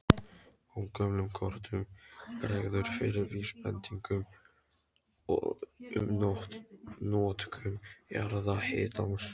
Á gömlum kortum bregður fyrir vísbendingum um notkun jarðhitans.